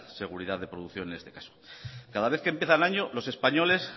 seguridad de producción en este caso cada vez que empieza el año los españoles